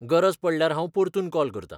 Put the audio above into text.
गरज पडल्यार हांव परतून कॉल करता.